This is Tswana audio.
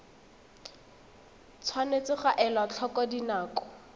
tshwanetse ga elwa tlhoko dinako